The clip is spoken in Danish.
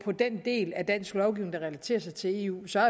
den del af dansk lovgivning der relaterer sig til eu så